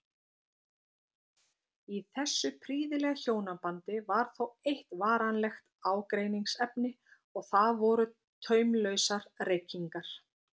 Í þessu prýðilega hjónabandi var þó eitt varanlegt ágreiningsefni og það voru taumlausar reykingar